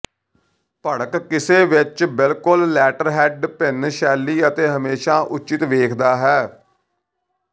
ਭੜਕ ਕਿਸੇ ਵਿੱਚ ਬਿਲਕੁਲ ਲੈਟਰਹੈੱਡ ਭਿਨ ਸ਼ੈਲੀ ਅਤੇ ਹਮੇਸ਼ਾ ਉਚਿਤ ਵੇਖਦਾ ਹੈ